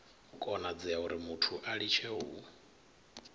konadzea urimuthu a litshe u